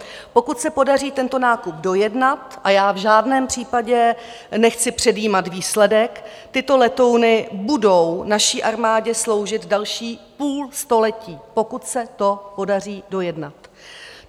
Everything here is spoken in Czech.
Pokud se podaří tento nákup dojednat, a já v žádném případě nechci předjímat výsledek, tyto letouny budou naší armádě sloužit další půl století, pokud se to podaří dojednat.